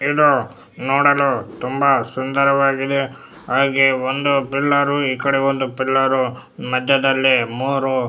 ಇದು ನೋಡಲು ತುಂಬಾ ಸುಂದರವಾಗಿದೆ ಹಾಗೆ ಒಂದು ಪಿಲ್ಲರ್ ಈ ಕಡೆ ಒಂದು ಪಿಲ್ಲರ್ ಮದ್ಯದಲ್ಲಿ ಮೂರೂ --